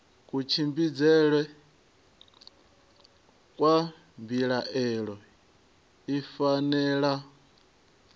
kutshimbidzele kwa mbilaelo i fanela